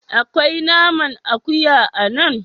Akwai naman akuya a nan?